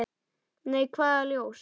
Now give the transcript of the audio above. Nei, hvaða ljós?